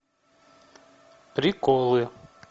приколы